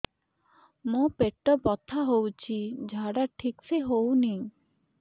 ମୋ ପେଟ ବଥା ହୋଉଛି ଝାଡା ଠିକ ସେ ହେଉନି